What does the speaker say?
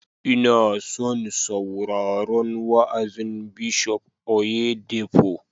Ina son sauraron wa'azin Bishop Oyedepo